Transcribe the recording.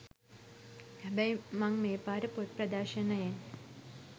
හැබැයි මං මේපාර පොත් ‍ප්‍රදර්ශණයෙන්